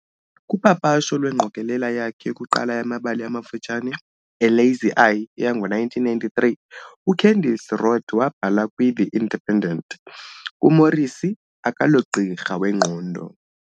Kupapasho lwengqokelela yakhe yokuqala yamabali amafutshane, A Lazy Eye, yango-1993 uCandice Rodd wabhala, kwiThe Independent, UMorrissy akalogqirha wengqondo